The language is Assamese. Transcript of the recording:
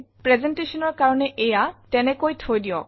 Presentationৰ কাৰণে এইয়া তেনেকৈ থৈ দিওক